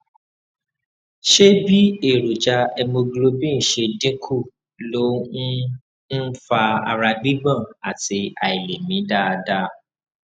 ṣé bí èròjà hemoglobin ṣe dín kù ló ń ń fa ara gbígbọn àti àìlèmí dáadáa